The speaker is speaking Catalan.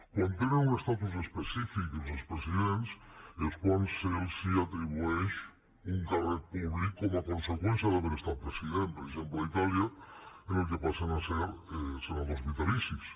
quan tenen un estatus específic els expresidents és quan se’ls atribueix un càrrec públic com a conseqüència d’haver estat presidents per exemple a itàlia en què passen a ser senadors vitalicis